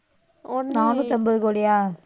நானூத்தம்பது கோடியா?